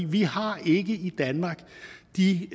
vi har ikke i danmark de